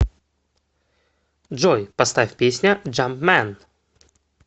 джой поставь песня джампмэн